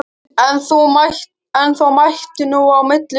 En þó mætti nú á milli vera.